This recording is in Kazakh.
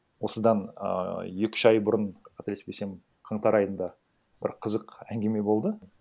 осыдан ііі екі үш ай бұрын қателеспесем қаңтар айында бір қызық әңгіме болды